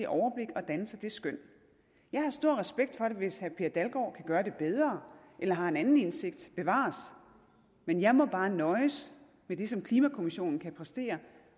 overblik og danne sig det skøn jeg har stor respekt for det hvis herre per dalgaard kan gøre det bedre eller har en anden indsigt bevares men jeg må bare nøjes med det som klimakommissionen kan præstere